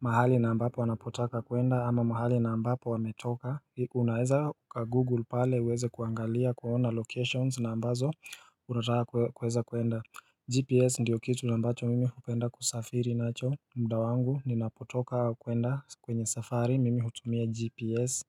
mahali na ambapo anapotaka kuenda ama mahali na ambapo ametoka. Unaeza uka Google pale uweze kuangalia kuona locations na ambazo unataka kueza kuenda. GPS ndiyo kitu na ambacho mimi hupenda kusafiri nacho mda wangu ninapotoka kuenda kwenye safari mimi hutumia GPS.